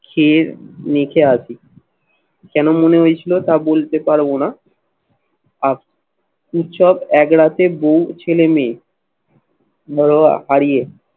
খেয়ে মেখে আসি। কেন মনে হয়েছিল তা বলতে পারবো না আর উৎসব এক রাতে বউ, ছেলে মেয়ে